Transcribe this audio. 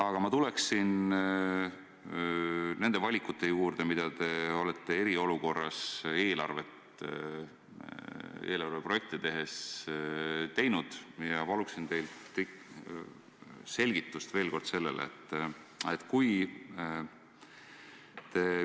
Aga ma tuleksin nende valikute juurde, mida te olete eriolukorras eelarveprojekte tehes teinud, ja paluksin teilt ikkagi veel kord selle kohta selgitust.